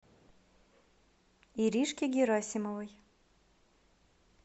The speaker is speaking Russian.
иришке герасимовой